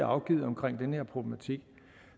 afgivet omkring den her problematik